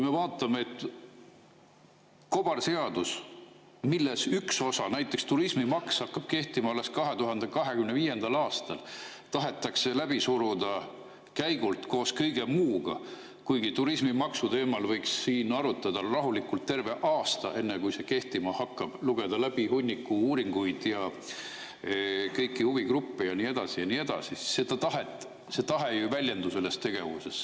Kobarseadus, millest üks osa, näiteks turismimaks, hakkab kehtima alles 2025. aastal, tahetakse käigult läbi suruda koos kõige muuga, kuigi turismimaksu teemal võiks siin arutada rahulikult terve aasta, enne kui see kehtima hakkab, lugeda läbi hunniku uuringuid, kõiki huvigruppe ja nii edasi, ja nii edasi – see tahe ei väljendu ju selles tegevuses.